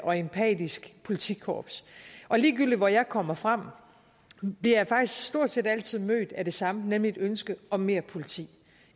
og empatisk politikorps og ligegyldigt hvor jeg kommer frem bliver jeg faktisk stort set altid mødt af det samme nemlig et ønske om mere politi